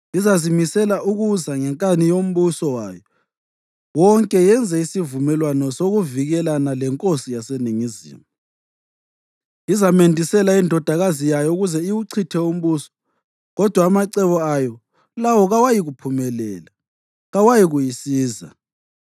Izazimisela ukuza ngenkani yombuso wayo wonke yenze isivumelwano sokuvikelana lenkosi yaseNingizimu. Izamendisela indodakazi yayo ukuze iwuchithe umbuso, kodwa amacebo ayo lawo kawayikuphumelela, kawayikuyisiza.